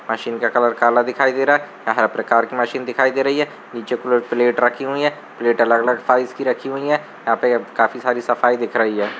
Machine का colour काला दिखाई दे रहा है। यह हर प्रकार की मशीन दिखाई दे रही है। नीचे प्ले प्लेट रखी हुई है। प्लेट अलग-अलग फाइल्स की रखी हुई है। यहाँ पे काफी सारी सफाई दिख रही हैं।